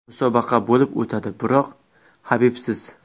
Musobaqa bo‘lib o‘tadi, biroq Habibsiz.